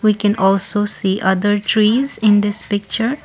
we can also see other trees in this picture.